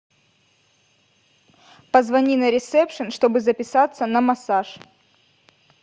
позвони на ресепшен чтобы записаться на массаж